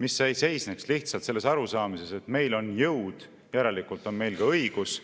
mis ei seisneks lihtsalt arusaamises, et meil on jõud, järelikult on meil ka õigus.